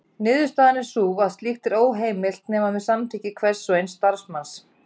Niðurstaðan er því sú að slíkt er óheimilt nema með samþykki hvers og eins starfsmanns.